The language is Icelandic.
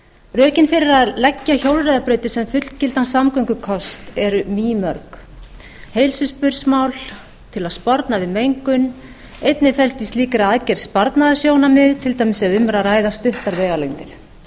rökin fyrir að leggja hjólreiðabrautir sem fullgildan samgöngukost eru mýmörg heilsuspursmál til að sporna við mengun einnig felst í slíkri aðgerð sparnaðarsjónarmið til dæmis ef um er að ræða stuttar vegalengdir